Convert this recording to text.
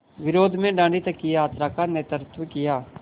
विरोध में दाँडी तक की यात्रा का नेतृत्व किया